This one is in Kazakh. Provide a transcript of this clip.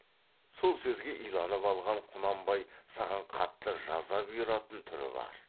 сол сөзге иланып алған құнанбай саған қатты жаза бұйыратын түрі бар